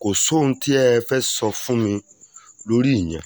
kò sóhun tẹ́ ẹ fẹ́ẹ́ sọ fún mi lórí ìyẹn